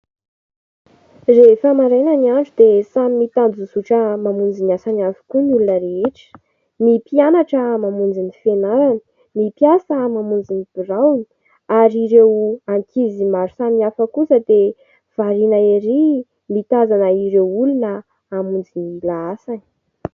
Rehefa maraina ny andro dia samy mitanjozotra mamonjy ny asany avokoa ny olona rehetra. Ny mpianatra mamonjy ny fianarany, ny mpiasa mamonjy ny biraony ary ireo ankizy maro samihafa kosa dia variana erỳ mitazana ireo olona hamonjy ny lahasany.